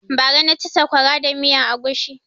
Bara na ci saƙwara da miyan agushi